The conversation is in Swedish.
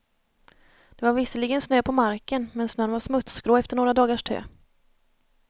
Det var visserligen snö på marken men snön var smutsgrå efter några dagars tö.